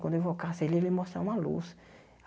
Quando eu invocasse ele, ele ia me mostrar uma luz.